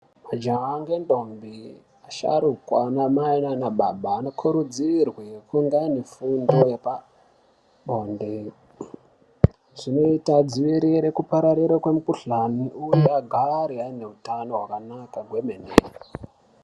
Majaha ngendombi, asharukwa anamai nanababa anokurudzirwe kunge aine fundo yepabonde zvinoita adzivirire kupararira kwemukhuhlani uye agare ane utano hwakanaka kwemene.